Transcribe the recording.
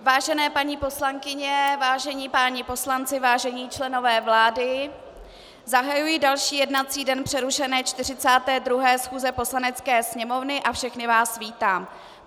Vážené paní poslankyně, vážení páni poslanci, vážení členové vlády, zahajuji další jednací den přerušené 42. schůze Poslanecké sněmovny a všechny vás vítám.